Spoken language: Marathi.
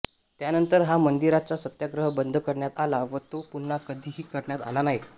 त्यानंतर हा मंदिराचा सत्याग्रह बंद करण्यात आला व तो पुन्हा कधीही करण्यात आला नाही